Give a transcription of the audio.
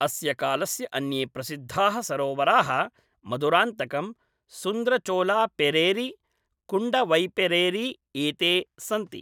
अस्य कालस्य अन्ये प्रसिद्धाः सरोवराः मदुरान्तकं, सुन्द्रचोलापेरेरी, कुण्डवैपेरेरी एते सन्ति।